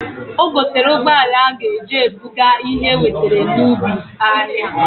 O gotalu ụgbọala a g'eji ebuga ihe ewetara n'ubi ahịa.